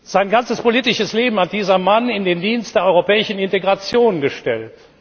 Sein ganzes politisches Leben hat dieser Mann in den Dienst der europäischen Integration gestellt.